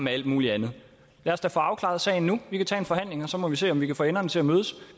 alt muligt andet lad os da få afklaret sagen nu vi kan tage en forhandling og så må vi se om vi kan få enderne til at mødes